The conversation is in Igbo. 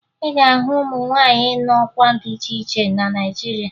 Ị ga-ahụ ụmụ nwaanyị nọ n'ọkwa dị iche iche na Naịjirịa